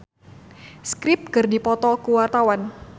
Ibrahim Imran jeung The Script keur dipoto ku wartawan